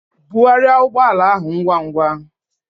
Bugharịa ụgbọ ala ahụ ngwa ngwa!